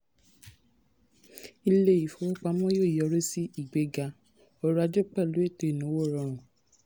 ilé ìfowópamọ yóò yọrìí sí ìgbéga ọrọ̀ ajé pẹ̀lú ètò ìnáwó rọrùn.